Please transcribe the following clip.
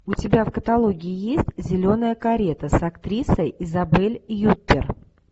у тебя в каталоге есть зеленая карета с актрисой изабель юппер